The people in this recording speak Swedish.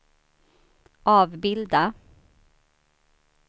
avbilda